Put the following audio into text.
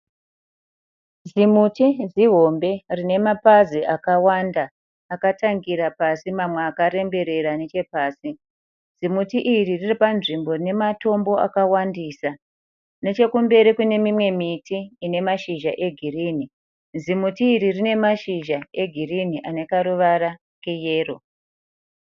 Zimuti zihombe rine mapazi akawanda akatangira pasi mamwe akaremberera nechepasi. Zimuti iri riri panzvimbo ine matombo akawandisa. Nechekumberi kune mimwe miti ine mashizha egirinhi. Zimuti iri rine mashizha egirinhi ane karuvara keyero.